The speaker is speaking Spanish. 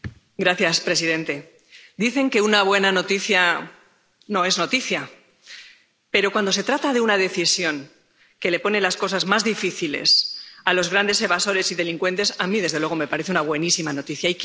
Señor presidente, dicen que una buena noticia no es noticia, pero cuando se trata de una decisión que pone las cosas más difíciles a los grandes evasores y delincuentes, a mí, desde luego, me parece una buenísima noticia.